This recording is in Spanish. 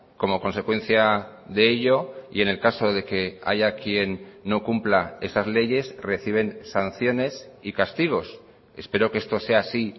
como consecuencia de ello y en el caso de que haya quien no cumpla esas leyes reciben sanciones y castigos espero que esto sea así